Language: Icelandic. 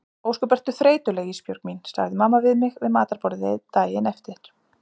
Ósköp ertu þreytuleg Ísbjörg mín, segir mamma við mig við matarborðið daginn eftir.